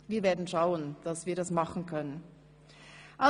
Wir werden sehen, ob wir dies tun können! «